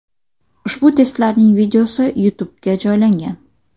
Ushbu testlarning videosi YouTube’ga joylangan .